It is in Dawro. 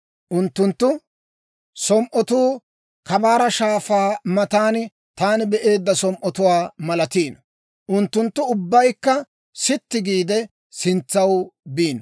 Unttunttu som"otuu Kabaara Shaafaa matan taani be'eedda som"otuwaa malatiino. Unttunttu ubbaykka sitti giide, sintsaw biino.